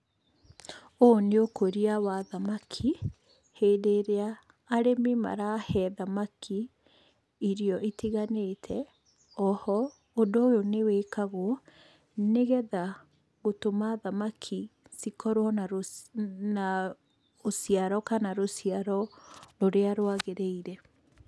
Ũyũ nĩ ũkũria wa thamaki, hĩndĩ ĩrĩa arĩmi marahe thamaki irio itiganĩte. Oho ũndũ ũyũ nĩ wĩkagwo nĩgetha gũtũma thamaki cikorwo na rũciaro rũrĩa rwagĩrĩire.